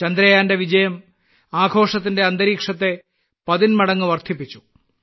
ചന്ദ്രയാന്റെ വിജയം ആഘോഷത്തിന്റെ അന്തരീക്ഷത്തെ പതിന്മടങ്ങ് വർദ്ധിപ്പിച്ചു